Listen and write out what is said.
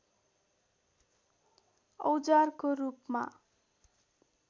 औजारको रूपमा